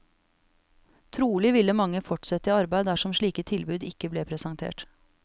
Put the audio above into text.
Trolig ville mange fortsette i arbeid dersom slike tilbud ikke ble presentert.